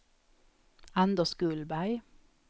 Anders Gullberg